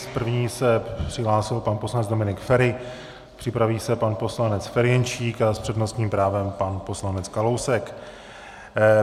S první se přihlásil pan poslanec Dominik Feri, připraví se pan poslanec Ferjenčík a s přednostním právem pan poslanec Kalousek.